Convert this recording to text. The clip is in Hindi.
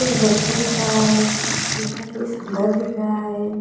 एक व्यक्ति दिख रहा है जिसका फेस ब्लर दिख रहा है।